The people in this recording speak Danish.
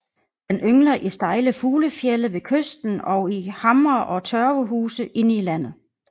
Den yngler i stejle fuglefjelde ved kysten og i hamre og tørvehuse inde i landet